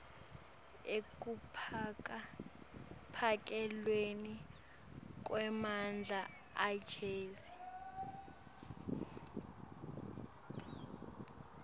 ekuphakelweni kwemandla agezi